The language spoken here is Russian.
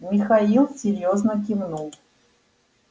михаил серьёзно кивнул